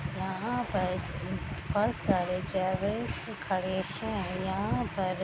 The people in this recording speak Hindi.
यहाँ पर बहुत सारे जेब्रा खड़े हैं । यहाँ पर --